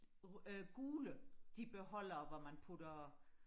øh gule de beholdere hvor man putter